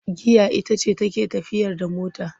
Giya ita ce take tafiyar da mota,